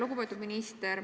Lugupeetud minister!